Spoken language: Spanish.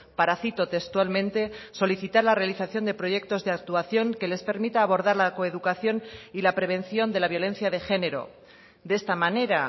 para cito textualmente solicitar la realización de proyectos de actuación que les permita abordar la coeducación y la prevención de la violencia de género de esta manera